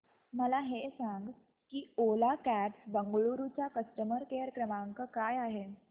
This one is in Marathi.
मला हे सांग की ओला कॅब्स बंगळुरू चा कस्टमर केअर क्रमांक काय आहे